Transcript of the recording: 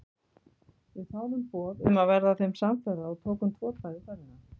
Við þáðum boð um að verða þeim samferða og tókum tvo daga í ferðina.